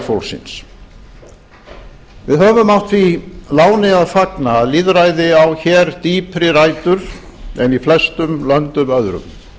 fólksins við höfum átt því láni að fagna að lýðræði á hér dýpri rætur en í flestum löndum öðrum